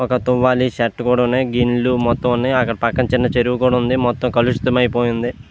ఒక తువాలి షర్టు కూడా వున్నాయ్ గిన్నెలు మొత్తం కూడా ఉన్నాయి పక్కన చిన్న చెరువు కూడా వుంది మొత్తం కలుషితం అయింది.